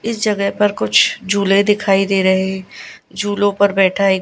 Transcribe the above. इस जगह पर कुछ झूले दिखाई दे रहे। झूलों पर बैठा एक--